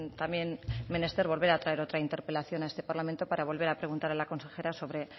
también menester volver a traer otra interpelación a este parlamento para volver a preguntar a la consejera sobre